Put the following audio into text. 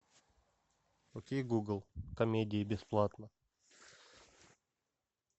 окей гугл комедии бесплатно